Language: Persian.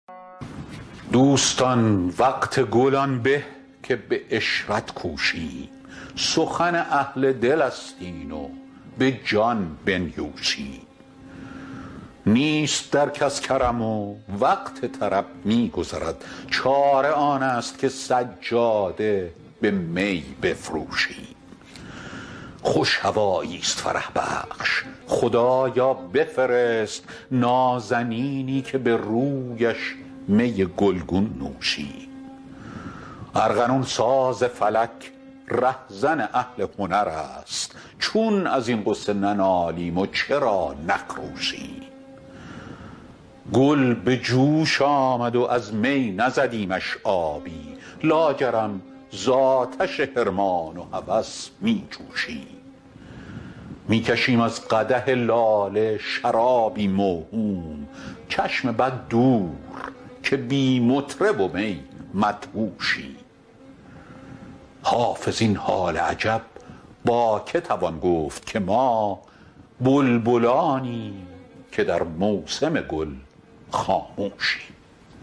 دوستان وقت گل آن به که به عشرت کوشیم سخن اهل دل است این و به جان بنیوشیم نیست در کس کرم و وقت طرب می گذرد چاره آن است که سجاده به می بفروشیم خوش هوایی ست فرح بخش خدایا بفرست نازنینی که به رویش می گل گون نوشیم ارغنون ساز فلک ره زن اهل هنر است چون از این غصه ننالیم و چرا نخروشیم گل به جوش آمد و از می نزدیمش آبی لاجرم زآتش حرمان و هوس می جوشیم می کشیم از قدح لاله شرابی موهوم چشم بد دور که بی مطرب و می مدهوشیم حافظ این حال عجب با که توان گفت که ما بلبلانیم که در موسم گل خاموشیم